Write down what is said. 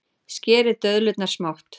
Skerið döðlurnar smátt.